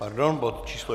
Pardon, bod číslo